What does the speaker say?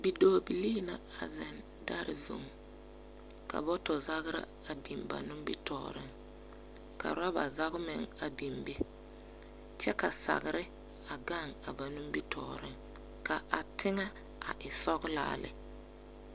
Bidɔɔbii la a zeŋ dare zuŋ, ka bɔtɔzagra a biŋ ba ninsɔge, ka rɔba zage meŋ a biŋ be, kyɛ ka sagere a gaŋ ba nimmitɔɔre, ka a teŋɛ a e sɔglaa lɛ.